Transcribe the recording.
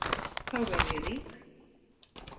Þá verð ég rík.